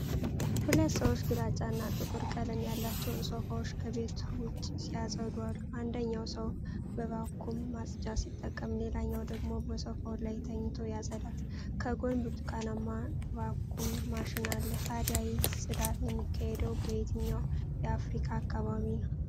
ሁለት ሰዎች ግራጫና ጥቁር ቀለም ያላቸውን ሶፋዎች ከቤት ውጭ ሲያፀዱ አሉ። አንደኛው ሰው በቫኩም ማጽጃ ሲጠቀም ሌላኛው ደግሞ በሶፋው ላይ ተኝቶ ያጸዳል፤ ከጎን ብርቱካንማ ቫኩም ማሽን አለ። ታዲያ ይህ ጽዳት የሚካሄደው በየትኛው የአፍሪካ አካባቢ ነው?